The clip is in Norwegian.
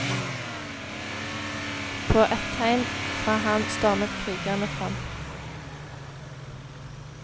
På et tegn fra ham stormet krigerne fram.